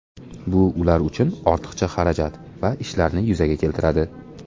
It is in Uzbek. Bu ular uchun ortiqcha xarajat va ishlarni yuzaga keltiradi.